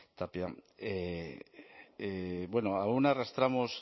tapia bueno aun arrastramos